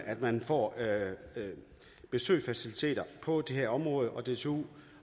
at man får besøgsfaciliteter på det her område og dtu